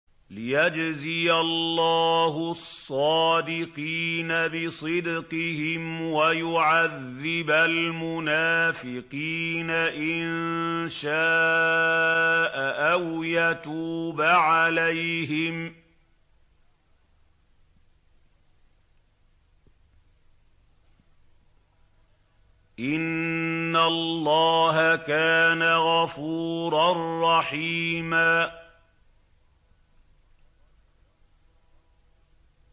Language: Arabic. لِّيَجْزِيَ اللَّهُ الصَّادِقِينَ بِصِدْقِهِمْ وَيُعَذِّبَ الْمُنَافِقِينَ إِن شَاءَ أَوْ يَتُوبَ عَلَيْهِمْ ۚ إِنَّ اللَّهَ كَانَ غَفُورًا رَّحِيمًا